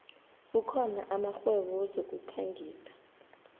kukhona amakghwebo wezokukhangisa